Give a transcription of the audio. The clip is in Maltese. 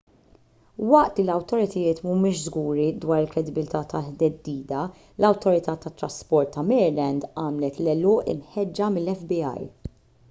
waqt li l-awtoritajiet m'humiex żguri dwar il-kredibilità tat-theddida l-awtorità tat-trasport ta' maryland għamlet l-għeluq imħeġġa mill-fbi